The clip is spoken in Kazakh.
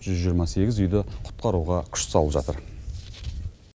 жүз жиырма сегіз үйді құтқаруға күш салып жатыр